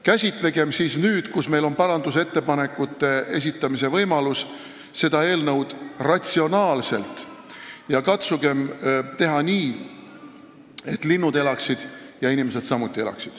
Käsitlegem siis nüüd, kui meil on parandusettepanekute esitamise võimalus, seda eelnõu ratsionaalselt ja katsugem teha nii, et linnud saaksid elada ja inimesed samuti.